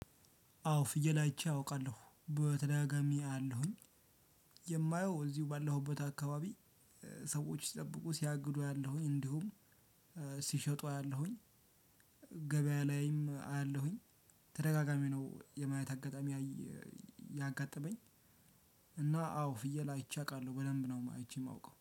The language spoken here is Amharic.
አዎ ፍየል አይቼ አውቃለሁ በተደጋጋሚ አያለሁኝ። የማየው እዚሁ ባለሁበት አካባቢ። ሰዎች ሲጠብቁ ሲያግዱ አያለሁኝ እንዲሁም ሲሸጡ አያለሁኝ። ገበያ ላይም አያለሁኝ። ተደጋጋሚ ነው የማየት አጋጣሚ ያጋጠመኝ። እና አዎ ፍየል አይቼ አውቃለሁ በደምብ ነው አይቼ የማውቀው